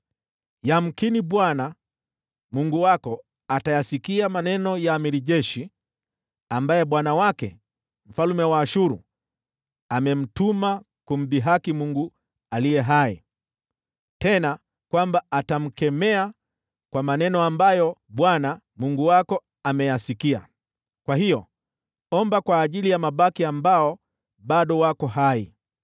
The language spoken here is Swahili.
Yamkini Bwana , Mungu wako atayasikia maneno ya jemadari wa jeshi, ambaye bwana wake, mfalme wa Ashuru, amemtuma kumdhihaki Mungu aliye hai, tena kwamba atamkemea kwa maneno ambayo Bwana , Mungu wako ameyasikia. Kwa hiyo omba kwa ajili ya mabaki ambao bado wako.”